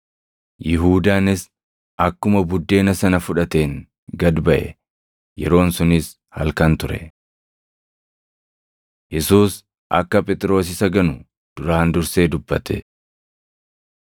Yihuudaanis akkuma buddeena sana fudhateen gad baʼe. Yeroon sunis halkan ture. Yesuus Akka Phexros Isa Ganu Duraan Dursee dubbate 13:37‑38 kwf – Mat 26:33‑35; Mar 14:29‑31; Luq 22:33‑34